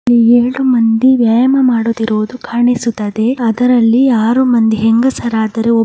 ಇಲ್ಲಿ ಎಲ್ರು ಮಂದಿ ವ್ಯಾಯಾಮ ಮಾಡುತ್ತಿರುವುದು ಕಾಣಿಸುತ್ತದೆ ಅದರಲ್ಲಿ ಆರು ಮಂದಿ ಹೆಂಗಸರಾದರೆ ಒ --